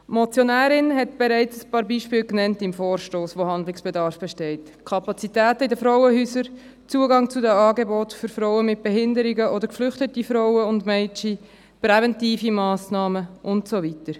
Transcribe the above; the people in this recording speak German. Die Motionärin hat bereits ein paar Beispiele im Vorstoss genannt, zu denen Handlungsbedarf besteht: die Kapazitäten in den Frauenhäusern, der Zugang zu den Angeboten für Frauen mit Behinderungen oder geflüchtete Frauen und Mädchen, präventive Massnahmen und so weiter.